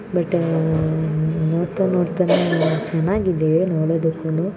ನೋಡ್ತಾ ನೋಡ್ತಾ ಚೆನ್ನಾಗಿ ಇದೆ ನೋಡೋದಕ್ಕೂನು ಹಾಗೇ ಗಿಡ ಆಗಲಿ ಮರ ಆಗಲಿ ತುಂಬಾ ಚೆನ್ನಾಗಿದೆ ಔಟ್‌ ಸೈಡ್‌ ಕೂಡನೂ ಲುಕ್‌ ಕಾಣುತ್ತೆ